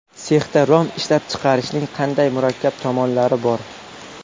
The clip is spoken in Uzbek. Sexda rom ishlab chiqarishning qanday murakkab tomonlari bor?